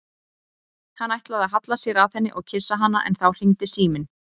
Hann ætlaði að halla sér að henni og kyssa hana en þá hringdi síminn.